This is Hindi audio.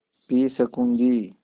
पी सकँूगी